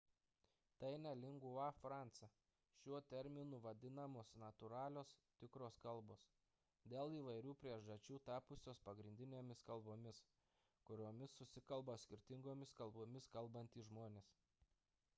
tai ne lingua franca – šiuo terminu vadinamos natūralios tikros kalbos dėl įvairių priežasčių tapusios pagrindinėmis kalbomis kuriomis susikalba skirtingomis kalbomis kalbantys žmonės